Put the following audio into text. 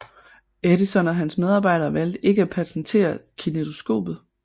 Edison og hans medarbejdere valgte ikke at patentere kinetoskopet